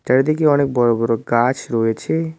চারিদিকে অনেক বড়ো বড়ো গাছ রয়েছে।